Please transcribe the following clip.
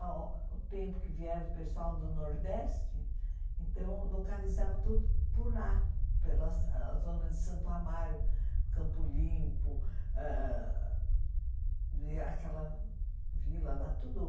Ao tempo que vieram o pessoal do Nordeste, então localizava tudo por lá, pela zona de Santo Amaro, Campo Limpo, ãh aquela vila lá, tudo.